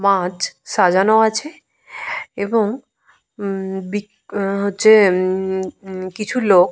মাছ সাজানো আছে। এবং মমম বিক উমম হচ্ছে উমমম কিছু লোক --